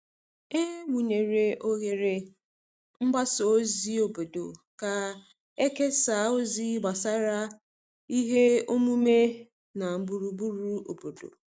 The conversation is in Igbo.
E wụnyere oghere mgbasa ozi obodo ka e kesaa ozi gbasara ihe omume na gburugburu obodo.